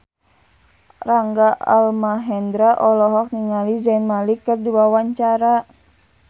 Rangga Almahendra olohok ningali Zayn Malik keur diwawancara